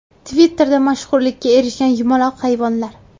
Twitter’da mashhurlikka erishgan yumaloq hayvonlar.